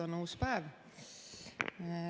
On uus päev.